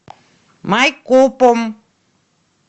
майкопом